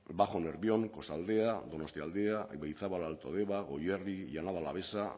bajo nervión kostaldea donostialdea ibaizabal alto deba goierri llanada alavesa